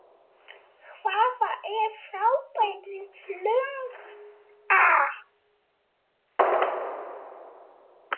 Hvað er frábært við LungA?